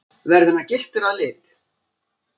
Verður hann gylltur að lit